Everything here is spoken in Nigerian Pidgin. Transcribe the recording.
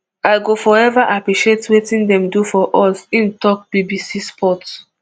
i go forever appreciate wetin dem do for us im tok bbc sport